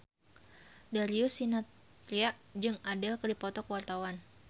Darius Sinathrya jeung Adele keur dipoto ku wartawan